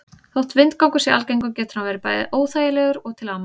Þótt vindgangur sé algengur getur hann verið bæði óþægilegur og til ama.